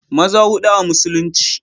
maza hudu a musulunci